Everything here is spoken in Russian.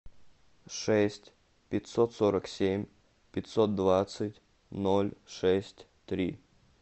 шесть пятьсот сорок семь пятьсот двадцать ноль шесть три